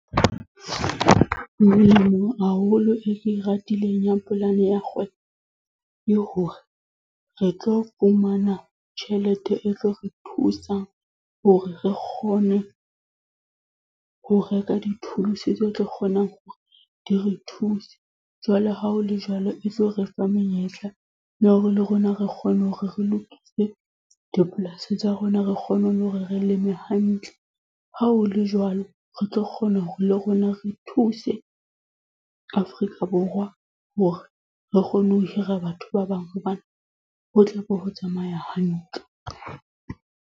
Ho molemo haholo e ke ratileng ya polane ya kgwebo, le hore re tlo fumana tjhelete e tlo re thusa hore re kgone ho reka di-tools tse tlo kgonang hore di re thuse. Jwale ha ho le jwalo e tlo re fa menyetla, ya hore le rona re kgone hore re lokise dipolasing tsa rona, re kgone le hore re leme hantle. Ha ho le jwalo, re tlo kgona hore le rona re thuse Afrika Borwa hore, re kgone ho hira batho ba bang hobane ho tlabe ho tsamaya hantle.